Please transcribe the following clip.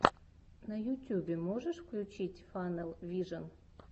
на ютюбе можешь включить фанэл вижен